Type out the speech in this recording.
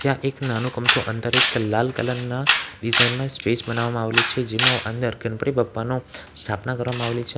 ત્યાં એક નાનો અમથો અંદર એક લાલ કલર ના ડિઝાઈન માં સ્ટેજ બનાવવામાં આવેલું છે જેમાં અંદર ગણપતિ પપ્પાનું સ્થાપના કરવામાં આવેલી છે.